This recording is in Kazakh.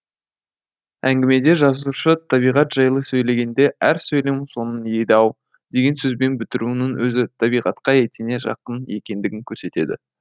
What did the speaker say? әңгімеде жазушы табиғат жайлы сөйлегенде әр сөйлем соңын еді ау деген сөзбен бітіруінің өзі табиғатқа етене жақын екендігін көрсетеді